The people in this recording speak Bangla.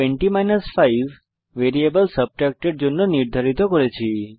20 5 ভ্যারিয়েবল subtract এর জন্য নির্ধারিত করেছি